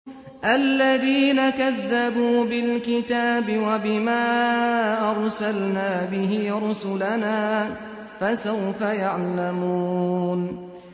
الَّذِينَ كَذَّبُوا بِالْكِتَابِ وَبِمَا أَرْسَلْنَا بِهِ رُسُلَنَا ۖ فَسَوْفَ يَعْلَمُونَ